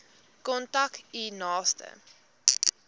kontak u naaste